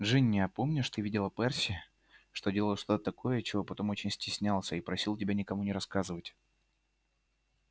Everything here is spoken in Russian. джинни а помнишь ты видела перси делал что-то такое чего потом очень стеснялся и просил тебя никому не рассказывать